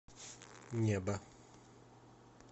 небо